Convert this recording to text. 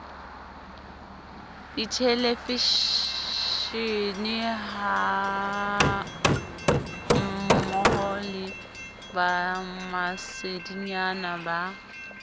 dithelevishenehammoho le ba masedinyana ba